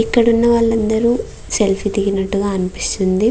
ఇక్కడున్న వాళ్ళు అందరూ సెల్ఫీ దిగినట్టుగా అనిపిస్తుంది.